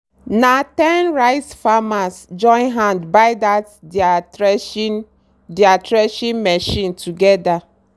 na ten rice farmers join hand buy dat deir threshing deir threshing machine together.